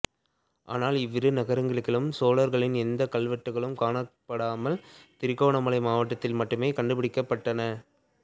ஆனால் இவ்விரு நகரங்களிலும் சோழர்களின் எந்தக் கல்வெட்டுக்களும் காணப்படாமல் திருகோணமலை மாவட்டத்தில் மட்டுமே கண்டுபிடிக்கப்பட்டன